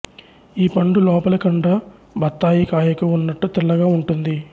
ఈ పండు లోపలి కండ బత్తాయి కాయకు ఉన్నట్టు తెల్లగా ఉంటుంది